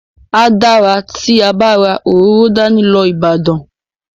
A dára tí a bá ra òróró dání lọ Ìbàdàn.